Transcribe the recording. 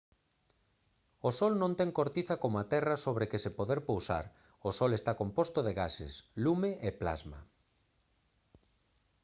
o sol non ten cortiza como a terra sobre que se poder pousar o sol está composto de gases lume e plasma